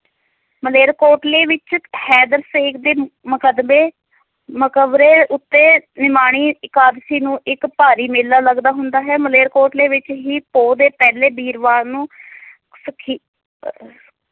ਮਲੇਰਕੋਟਲੇ ਵਿਚ ਹੈਦਰ ਸੇਖ ਦੇ ਮਕਦਵੇ ਮਕਵਰੇ ਉੱਤੇ ਨਿਮਾਣੀ ਇਕਾਦਸੀ ਨੂੰ ਇੱਕ ਭਾਰੀ ਮੇਲਾ ਲੱਗਦਾ ਹੁੰਦਾ ਹੈ ਮਲੇਰਕੋਟਲੇ ਦੇ ਵਿਚ ਹੀ ਪੋਹ ਦੇ ਪਹਿਲੇ ਵੀਰਵਾਰ ਨੂੰ ਸੁਖੀ~ ਅਹ